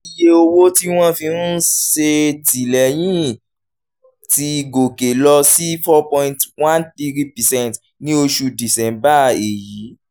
iye owó tí wọ́n fi ń ṣètìlẹ́yìn ti gòkè lọ sí cs] four point one three percent ní oṣù december èyí